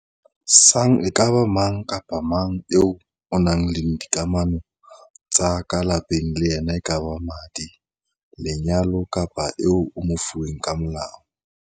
sang e ka ba mang kapa mang eo o nang le dikamano tsa ka lapeng le yena e kaba ka madi, lenyalo kapa eo o mofuweng ka molao.